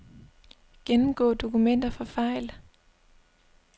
Gennemgå dokumenter for fejl.